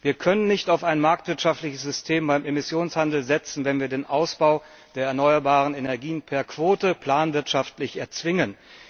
Wir können nicht auf ein marktwirtschaftliches System beim Emissionshandel setzen, wenn wir den Ausbau der erneuerbaren Energien per Quote planwirtschaftlich erzwingen.